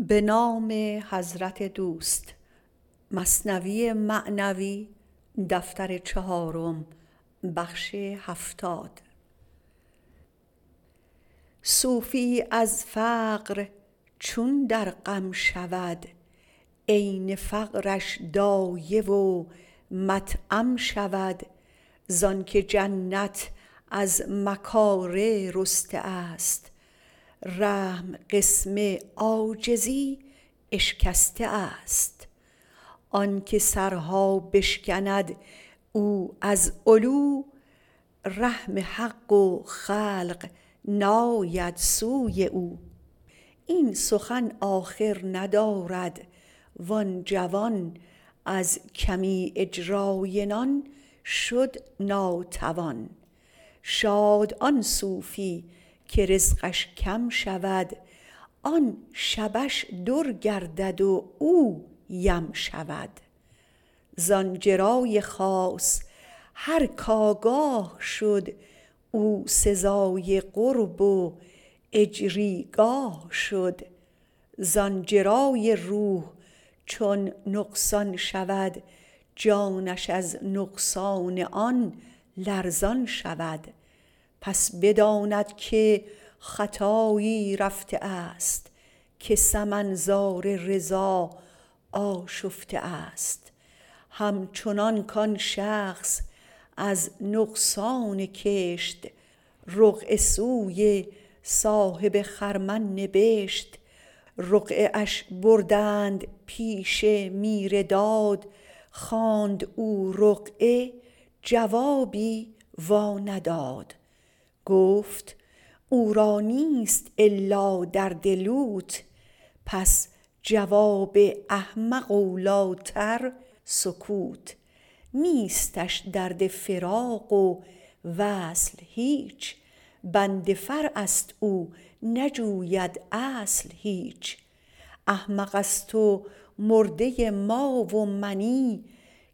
صوفیی از فقر چون در غم شود عین فقرش دایه و مطعم شود زانک جنت از مکاره رسته است رحم قسم عاجزی اشکسته است آنک سرها بشکند او از علو رحم حق و خلق ناید سوی او این سخن آخر ندارد وان جوان از کمی اجرای نان شد ناتوان شاد آن صوفی که رزقش کم شود آن شبه ش در گردد و او یم شود زان جرای خاص هر که آگاه شد او سزای قرب و اجری گاه شد زان جرای روح چون نقصان شود جانش از نقصان آن لرزان شود پس بداند که خطایی رفته است که سمن زار رضا آشفته است هم چنانک آن شخص از نقصان کشت رقعه سوی صاحب خرمن نبشت رقعه اش بردند پیش میر داد خواند او رقعه جوابی وا نداد گفت او را نیست الا درد لوت پس جواب احمق اولی تر سکوت نیستش درد فراق و وصل هیچ بند فرعست او نجوید اصل هیچ احمقست و مرده ما و منی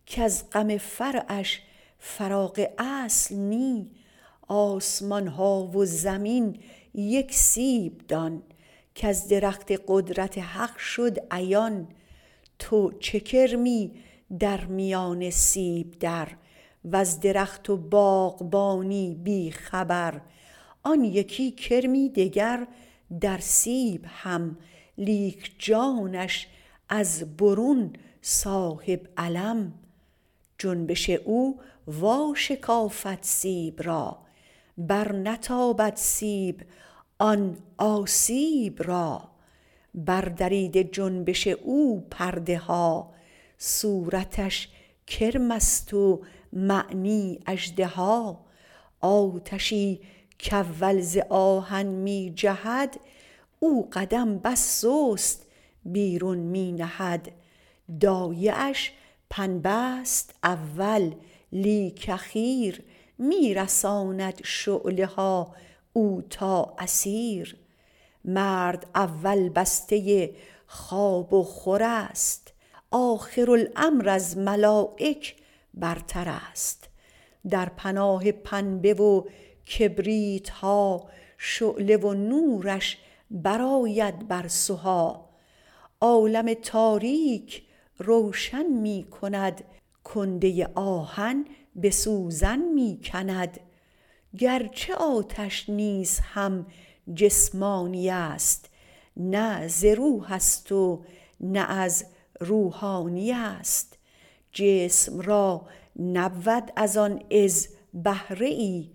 کز غم فرعش فراغ اصل نی آسمان ها و زمین یک سیب دان که ز درخت قدرت حق شد عیان تو چو کرمی در میان سیب در وز درخت و باغبانی بی خبر آن یکی کرمی دگر در سیب هم لیک جانش از برون صاحب علم جنبش او وا شکافد سیب را بر نتابد سیب آن آسیب را بر دریده جنبش او پرده ها صورتش کرمست و معنی اژدها آتشی که اول ز آهن می جهد او قدم بس سست بیرون می نهد دایه اش پنبه ست اول لیک اخیر می رساند شعله ها او تا اثیر مرد اول بسته خواب و خورست آخر الامر از ملایک برترست در پناه پنبه و کبریتها شعله و نورش برآید بر سها عالم تاریک روشن می کند کنده آهن به سوزن می کند گرچه آتش نیز هم جسمانی است نه ز روحست و نه از روحانی است جسم را نبود از آن عز بهره ای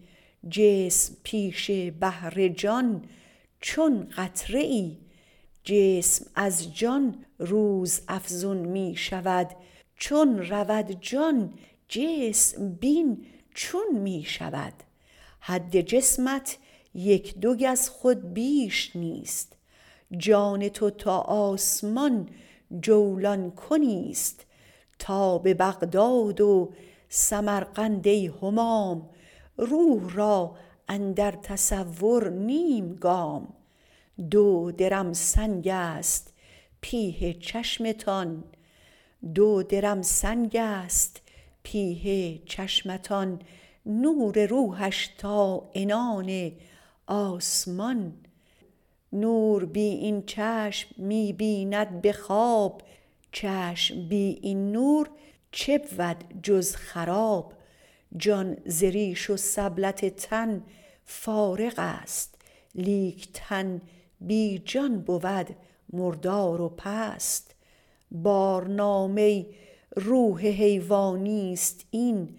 جسم پیش بحر جان چون قطره ای جسم از جان روزافزون می شود چون رود جان جسم بین چون می شود حد جسمت یک دو گز خود بیش نیست جان تو تا آسمان جولان کنیست تا به بغداد و سمرقند ای همام روح را اندر تصور نیم گام دو درم سنگست پیه چشمتان نور روحش تا عنان آسمان نور بی این چشم می بیند به خواب چشم بی این نور چه بود جز خراب جان ز ریش و سبلت تن فارغست لیک تن بی جان بود مردار و پست بارنامه روح حیوانیست این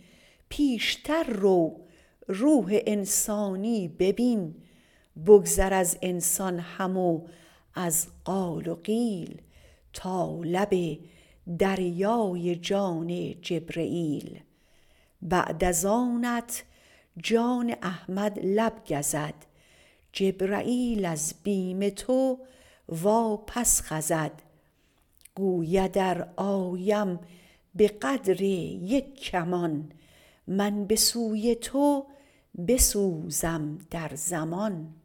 پیشتر رو روح انسانی ببین بگذر از انسان هم و از قال و قیل تا لب دریای جان جبرییل بعد از آنت جان احمد لب گزد جبرییل از بیم تو واپس خزد گوید ار آیم به قدر یک کمان من به سوی تو بسوزم در زمان